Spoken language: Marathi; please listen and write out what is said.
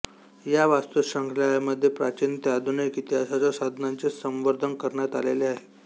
या वस्तुसंग्रहालयामध्ये प्राचीन ते आधुनिक इतिहासाच्या साधनांचे संवर्धन करण्यात आलेले आहे